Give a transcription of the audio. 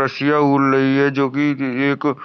रसियां ऊल रही है जो कि एक --